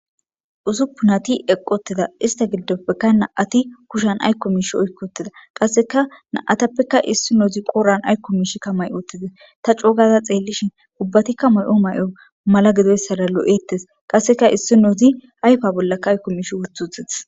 Usuffunati eqi utida ista gidopekka nam'ati kushan aykko misha oyki utida qasekka na'atapekka issinozi qodhan aykko mishika mayi utides ta co gada xelishin ubbatikka Mayo Mayo mala mala gidoysara lo'otese qasekka issinozi ayfa bolla mish wothi Wothides